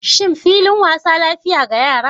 Shin filin wasa lafiya ga yara?